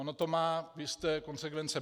Ono to má jisté konsekvence.